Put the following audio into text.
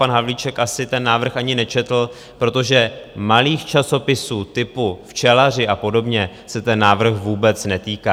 Pan Havlíček asi ten návrh ani nečetl, protože malých časopisů typu včelaři a podobně se ten návrh vůbec netýká.